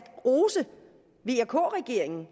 rose vk regeringen